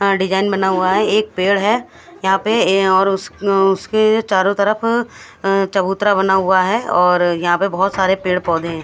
Design बना हुआ है एक पेड़ है यहाँ पे और उ- अ- उस- उसके चारो तरफ अ- चबूतरा बना हुआ अहै और यहाँपे बहुत सारे पेड़ पौधे है।